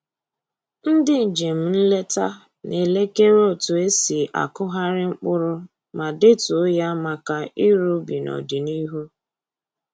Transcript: Ndị njem nleta na-elekere otu e si akụgharị mkpụrụ ma detuo ya maka ịrụ ubi n'ọdịnihu